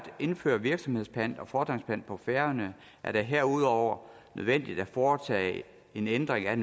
indføre virksomhedspant og fordringspant på færøerne er det herudover nødvendigt at foretage en ændring af